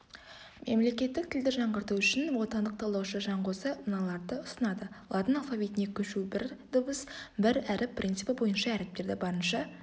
мемлекеттік тілді жаңғырту үшін отандық талдаушы жанғозы мыналарды ұсынады латын алфавитіне көшу бір дыбыс-бір әріп принципі бойынша әріптерді барынша